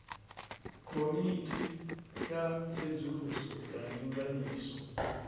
komiti ya tsedzuluso ya ndinganyiso